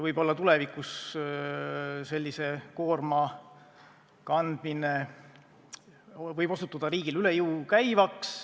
Võib-olla tulevikus osutub sellise koorma kandmine riigile üle jõu käivaks.